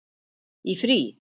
Í frí?